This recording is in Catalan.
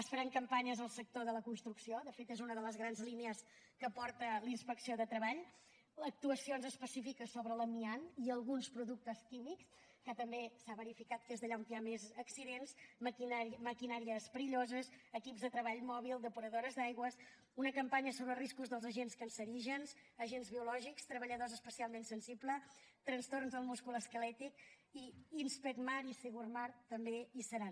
es faran campanyes al sector de la construcció de fet és una de les grans línies que porta la inspecció de treball actuacions específiques sobre l’amiant i alguns productes químics que també s’ha verificat que és allà on hi ha més accidents maquinàries perilloses equips de treball mòbil depuradores d’aigües una campanya sobre riscos dels agents cancerígens agents biològics treballadors especialment sensibles trastorns del múscul esquelètic i inspecmar i segurmar també hi seran